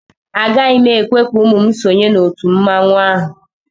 Agaghị m ekwe ka ụmụ m sonye n'òtù mmanwụ ahụ